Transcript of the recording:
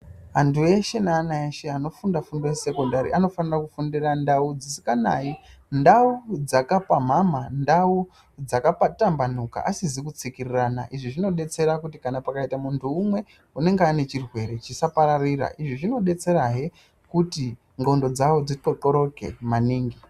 Antu eshe neana eshe anofundire kuzvikora zvesekondari anofanire kufundira mundau dzisinganayi mvura. Ndau dzakapamhamha. Ndau dzakatambanuka asizi kutsikirirana. Izvi zvinodetsera kuti kana pakaita munhu umwe unenge anechirwere chisapararire. Izvi zvinodetserahe kuti ndxondo dzavo dzixoxoreke maningi.